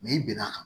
i bɛn'a kan